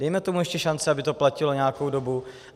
Dejme tomu ještě šanci, aby to platilo nějakou dobu.